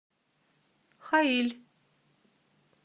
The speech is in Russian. хаиль